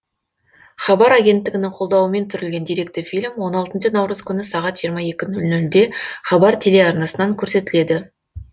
хабар агенттігінің қолдауымен түсірілген деректі фильм он алтыншы наурыз күні сағат жиырма екі нөл нөлде хабар телеарнасынан көрсетіледі